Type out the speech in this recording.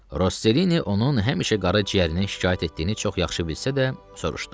Rosselini onun həmişə qara ciyərindən şikayət etdiyini çox yaxşı bilsə də, soruşdu.